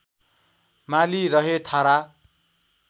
माली रहे थारा